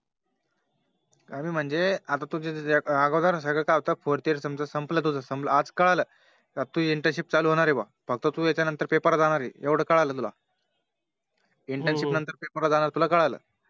कमी म्हणजे आता तुझे जे अगोदर सगळं काय होत Fourth year समझ संपला तुझं संपलं आज कळाला Internship चालू होणार आहे बुवा फक्त तू याच्या नंतर Paper ला जाणार आहे येवढं कळालं तुला Internship नंतर Paper ला जाणार आहे तुला कळाल